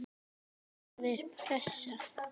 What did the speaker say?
Hvaða er pressa?